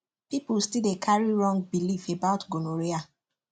people still dey carry wrong belief about gonorrhea